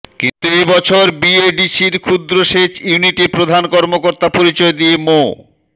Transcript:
কিন্তু এ বছর বিএডিসির ক্ষুদ্র সেচ ইউনিটে প্রধান কর্মকর্তা পরিচয় দিয়ে মো